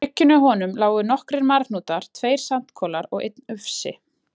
bryggjunni hjá honum lágu nokkrir marhnútar, tveir sandkolar og einn ufsi.